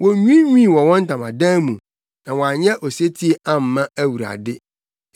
Wonwiinwii wɔ wɔn ntamadan mu na wɔanyɛ osetie amma Awurade.